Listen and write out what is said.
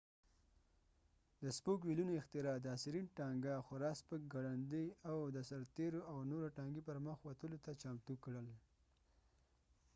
د سپوک ویلونو اختراع د اسيرين ټانګه خورا سپک ګړندي او د سرتیرو او نورو ټانګي پرمخ وتلو ته چمتو کړل